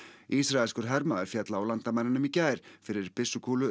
ísraelskur hermaður féll á landamærunum í gær fyrir byssukúlu